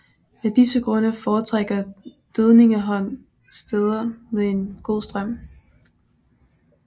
Af disse grunde foretrækker dødningehånd steder med en god strøm